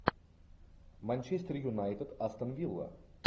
манчестер юнайтед астон вилла